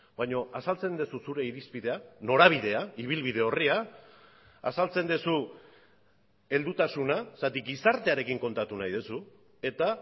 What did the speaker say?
baina azaltzen duzu zure irizpidea norabidea ibilbide orria azaltzen duzu heldutasuna zergatik gizartearekin kontatu nahi duzu eta